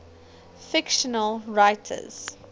fictional writers